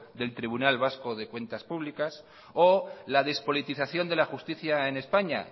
del tribunal vasco de cuentas públicas o la despolitización de la justicia en españa